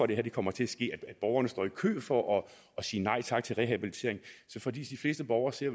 det kommer til at ske at borgerne står i kø for at sige nej tak til rehabilitering for de fleste borgere ser